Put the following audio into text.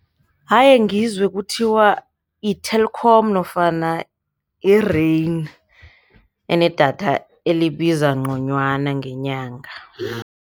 Ayengizwe kuthiwa i-Telkom nofana i-Rain enedatha elibiza nconywana ngenyanga.